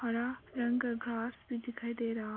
हरा रंग का ग्रास भी दिखाई दे रहा है।